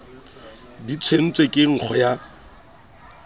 di tshetswe ka nkgo ya